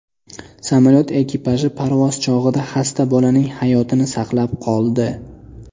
Samolyot ekipaji parvoz chog‘ida xasta bolaning hayotini saqlab qoldi.